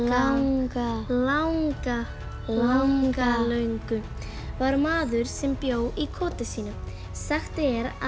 langa langa langalöngu var maður sem bjó í koti sínu sagt er að